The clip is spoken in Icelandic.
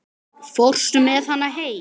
Þið eruð enn á lífi!